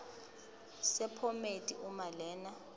sephomedi uma lena